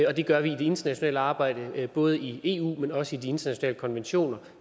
og det gør vi i det internationale arbejde både i eu men også i de internationale konventioner